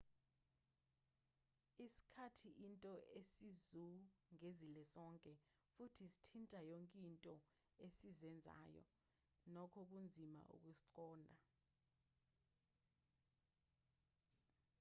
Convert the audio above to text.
isikhathi into esizungezile sonke futhi sithinta yonke into esiyenzayo nokho kunzima ukusiqonda